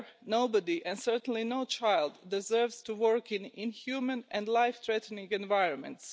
Nobody and certainly no child deserves to work in inhumane and life threatening environments.